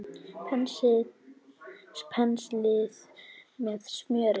Penslið með smjöri.